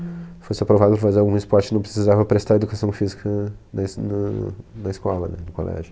Se fosse aprovado para fazer algum esporte, não precisava prestar educação física na es nãh, na escola, no colégio.